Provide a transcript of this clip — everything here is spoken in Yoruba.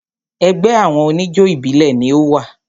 Ẹgbẹ́ àwọn oníjó ìbílẹ̀ ni o wà.